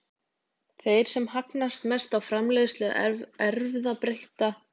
Þeir sem hagnast mest á framleiðslu erfðabreyttra nytjaplantna eru líftæknifyrirtæki og bændur.